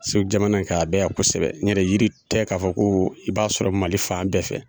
Segu jamana in ka a bɛ yan kosɛbɛ n yɛrɛ yiri tɛ k'a fɔ ko i b'a sɔrɔ Mali fan bɛɛ fɛ.